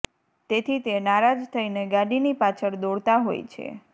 ત્તેથી તે નારાજ થઈને ગાડીની પાછળ દોડતા હોય છે